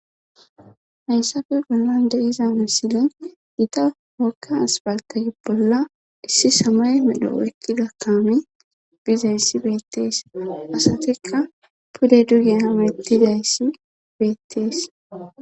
Haynssape bollan deiza misile gita wakka asbaltagi bolla issi samay medho ekki dakaami bizayssi beettees asatikka pude dugea mettidayssi beettees